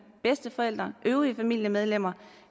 bedsteforældre øvrige familiemedlemmer